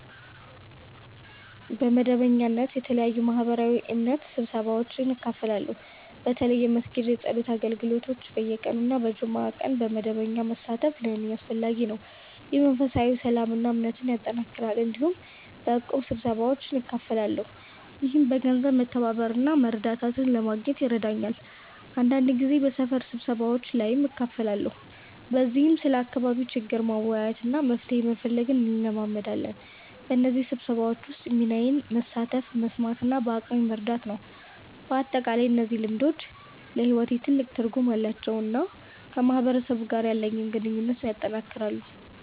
በመደበኛነት በተለያዩ ማህበራዊና እምነታዊ ስብሰባዎች እካፈላለሁ። በተለይ የመስጊድ የጸሎት አገልግሎቶች በየቀኑ እና በጁምዓ ቀን በመደበኛነት መሳተፍ ለእኔ አስፈላጊ ነው፣ ይህም መንፈሳዊ ሰላምን እና እምነትን ያጠናክራል። እንዲሁም በእቁብ ስብሰባዎች እካፈላለሁ፣ ይህም በገንዘብ መተባበር እና መረዳዳት ለማግኘት ይረዳኛል። አንዳንድ ጊዜ በሰፈር ስብሰባዎች ላይም እካፈላለሁ፣ በዚህም ስለ አካባቢ ችግር መወያየት እና መፍትሄ መፈለግ እንለማመዳለን። በእነዚህ ስብሰባዎች ውስጥ ሚናዬ መሳተፍ፣ መስማት እና በአቅሜ መርዳት ነው። በአጠቃላይ እነዚህ ልምዶች ለሕይወቴ ትልቅ ትርጉም አላቸው እና ከማህበረሰብ ጋር ያለኝን ግንኙነት ያጠናክራሉ።